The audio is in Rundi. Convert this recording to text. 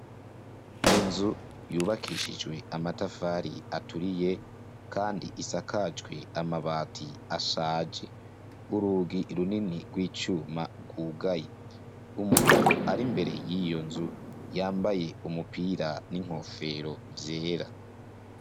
Inzu yubakishijwe amatafari aturiye kandi isakajwe amabati ashaje. Urugi runini rw'icuma rwugaye. Umugabo ar'imbere y'iyo nzu, yambaye umupira n'inkofero vyera .